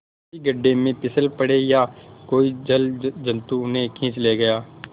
किसी गढ़े में फिसल पड़े या कोई जलजंतु उन्हें खींच ले गया